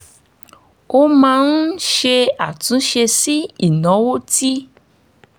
mo máa ń ṣe àtúnṣe sí ìnáwó tí